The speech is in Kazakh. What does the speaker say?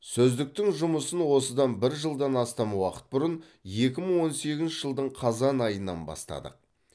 сөздіктің жұмысын осыдан бір жылдан астам уақыт бұрын екі мың он сегізінші жылдың қазан айынан бастадық